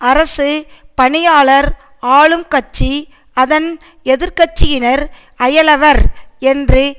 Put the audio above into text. அரசு பணியாளர் ஆளும் கட்சி அதன் எதிர் கட்சியினர் அயலவர் என்று